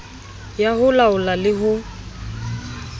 ya ho laola le ho